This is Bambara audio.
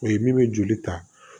O ye min bɛ joli ta